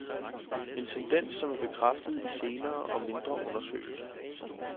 En tendens, som er bekræftet i senere og mindre undersøgelser.